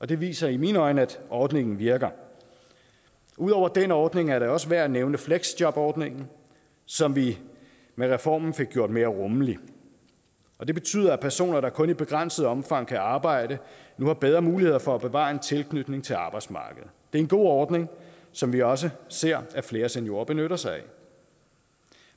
det viser i mine øjne at ordningen virker ud over den ordning er det også værd at nævne fleksjobordningen som vi med reformen fik gjort mere rummelig og det betyder at personer der kun i begrænset omfang kan arbejde nu har bedre muligheder for at bevare en tilknytning til arbejdsmarkedet det er en god ordning som vi også ser at flere seniorer benytter sig af